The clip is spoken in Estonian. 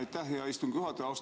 Aitäh, hea istungi juhataja!